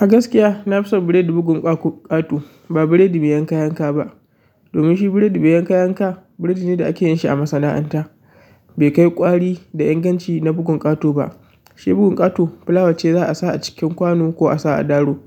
A gaskiya na fi son biredi bugun ƙa-ko ƙato ba biredi me yanka yanka ba. Domin shi biredi miyan yanka yanka, biredi ne da ake yin shi a masana'anta. Bai kai ƙwari da inganci na bugun ƙato ba. Shi bugun ƙato fulawa ce za a sa a cikin kwano ko a sa a daro,